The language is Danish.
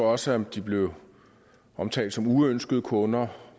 også de blev omtalt som uønskede kunder